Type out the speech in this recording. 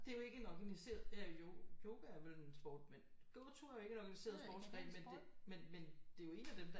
Det er jo ikke en organiseret eller jo yoga er vel en sport med gåture er jo ikke en organiseret sportsgren men det er jo en af dem der